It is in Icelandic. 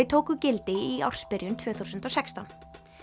tóku gildi í ársbyrjun tvö þúsund og sextán